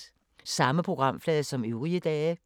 Samme programflade som øvrige dage